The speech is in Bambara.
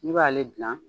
I b'ale gilan